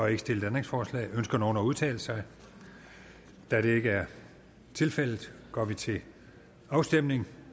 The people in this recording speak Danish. ikke stillet ændringsforslag ønsker nogen at udtale sig da det ikke er tilfældet går vi til afstemning